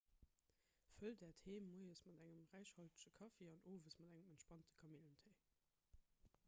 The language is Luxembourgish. fëllt äert heem moies mat engem räichhaltege kaffi an owes mat engem entspanende kamillentéi